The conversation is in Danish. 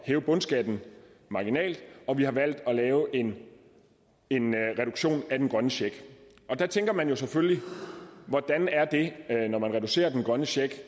hæve bundskatten marginalt og vi har valgt at lave en en reduktion af den grønne check og der tænker man selvfølgelig hvordan er det når man reducerer den grønne check